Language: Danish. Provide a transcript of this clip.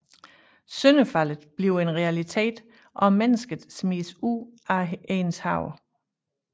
Syndefaldet bliver en realitet og mennesket smides ud af Edens have